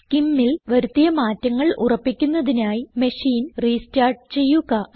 SCIMൽ വരുത്തിയ മാറ്റങ്ങൾ ഉറപ്പിക്കുന്നതിനായി മെഷീൻ റീസ്റ്റാർട്ട് ചെയ്യുക